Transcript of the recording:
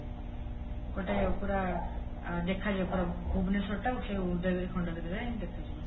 ଗୋଟେ ପୁରା ଦେଖାଯିବ ପୁରା ଭୁବନେଶ୍ୱରଟା ସେ ଉଦୟଗିରି ଖଣ୍ଡଗିରି ରେ ହିଁ ଦେଖାଯିବ